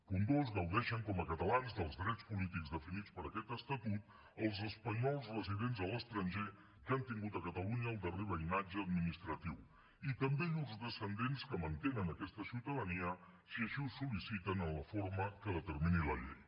punt dos gaudeixen com a catalans dels drets polítics definits per aquest estatut els espanyols residents a l’estranger que han tingut a catalunya el darrer veïnatge administratiu i també llurs descendents que mantenen aquesta ciutadania si així ho sol·liciten en la forma que determini la llei